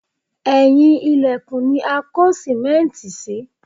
Ẹ̀yìn ilẹ̀kùn ni a kó sìmẹ́ǹtì sí